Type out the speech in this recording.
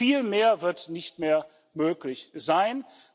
Viel mehr wird nicht mehr möglich sein.